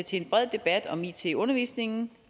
til en bred debat om it i undervisningen